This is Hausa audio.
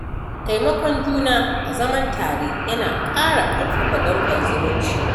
Taimakon juna a zaman tare yana ƙara ƙarfafa danƙon zumunci